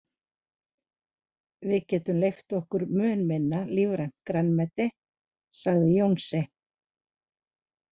Við getum leyft okkur mun minna lífrænt grænmeti, segir Jónsi.